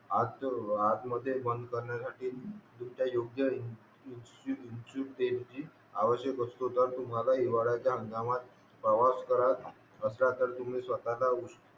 असं आतमध्ये बंद करण्यासाठी इच्छुक देणगी आवश्यक असतो तर तुम्हाला हिवाळाचा हंगामात प्रवास करायचा असल्यास तुम्ही स्वतःला उश